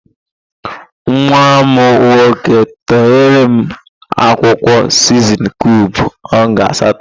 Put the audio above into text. Nwa m n/ nnnnn? //n///nwoke tọgheere m akwụkwọ siznin kiub ọnga asatọ.